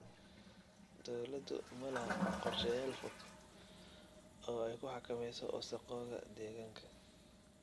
Dawladdu malaha qorshayaal fog oo ay ku xakamayso wasakhowga deegaanka.